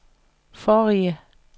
forrige